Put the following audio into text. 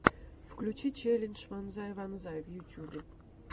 включи челлендж вонзай вонзай в ютюбе